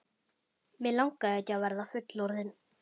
Mig langaði ekki að verða fullorðinn.